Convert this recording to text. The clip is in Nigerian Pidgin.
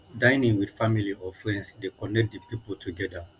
dinning with family or friends de connect di pipo together